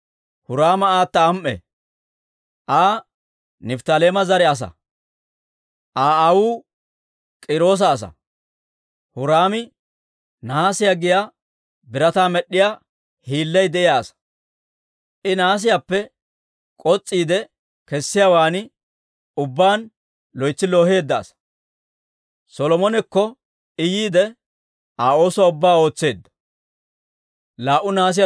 Huraama aata am"e; Aa Nifttaaleema zare asaa. Aa aawuu K'iiroosa asaa. Huraami nahaasiyaa giyaa birataa med'd'iyaa hiillay de'iyaa asaa; I nahaasiyaappe k'os's'iide kessiyaawaan ubbaan loytsi looheedda asaa; Solomonekko I yiide, Aa oosuwaa ubbaa ootseedda.